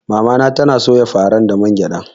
Mamana tana soya faran da man gyada.